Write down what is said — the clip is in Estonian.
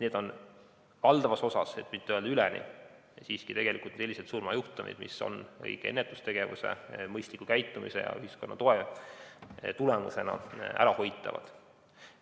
Need on valdavas osas, kui mitte öelda alati, siiski sellised surmajuhtumid, mis on õige ennetustegevuse, mõistliku käitumise ja ühiskonna toe tulemusena ärahoitavad.